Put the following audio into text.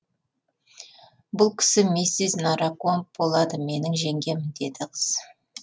бұл кісі миссис наракомб болады менің жеңгем деді қыз